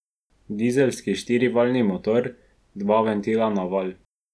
Dizelski štirivaljni motor, dva ventila na valj.